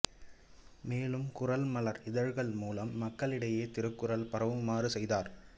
மேலும் குறள் மலர் இதழ் மூலம் மக்களிடையே திருக்குறள் பரவுமாறு செய்தார்